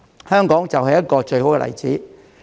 香港就是一個最好的例子。